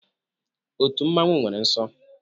Otu mmanwu nwere nsọ